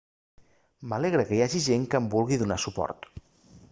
m'alegra que hi hagi gent que em vulgui donar suport